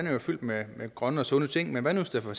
er jo fyldt med grønne og sunde ting men hvad hvis der for